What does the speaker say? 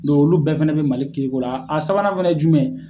olu bɛɛ fɛnɛ bɛ Mali kiiri ko la, a sabanan fɛnɛ ye jumɛn ye.